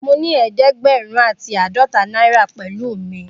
Mo ni eedegberun ati aadọta náírà pẹlu mi.